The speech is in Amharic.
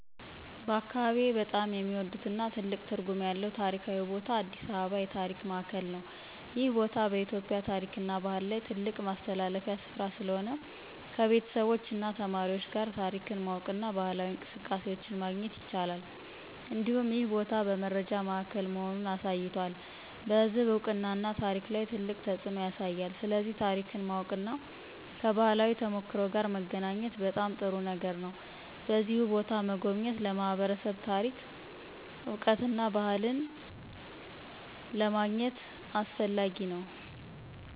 በአካባቢዬ በጣም የሚወዱትና ትልቅ ትርጉም ያለው ታሪካዊ ቦታ አዲስ አበባ የታሪክ ማዕከል ነው። ይህ ቦታ በኢትዮጵያ ታሪክና ባህል ላይ ትልቅ ማስተላለፊያ ስፍራ ስለሆነ፣ ከቤተሰቦች እና ተማሪዎች ጋር ታሪክን ማወቅና ባህላዊ እንቅስቃሴዎችን ማግኘት ይቻላል። እንዲሁም ይህ ቦታ በመረጃ ማዕከል መሆኑን አሳይቷል፣ በሕዝብ እውቀትና ታሪክ ላይ ትልቅ ተፅዕኖ ያሳያል። ስለዚህ ታሪክን ማወቅና ከባህላዊ ተሞክሮ ጋር መገናኘት በጣም ጥሩ ነገር ነው። በዚሁ ቦታ መጎብኘት ለማህበረሰብ ታሪክ እውቀትና ባህልን አገኘ ለማድረግ አስፈላጊ ነው።